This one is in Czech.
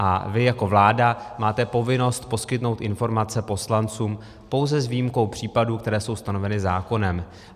A vy jako vláda máte povinnost poskytnout informace poslancům, pouze s výjimkou případů, které jsou stanoveny zákonem.